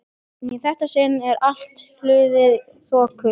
En í þetta sinn er allt hulið þoku.